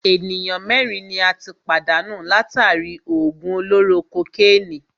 Ènìyàn mẹ́rin ni a tí pàdánù látàri í òògùn olóró kokénìí.